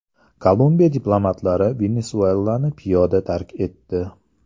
Kolumbiya diplomatlari Venesuelani piyoda tark etdi.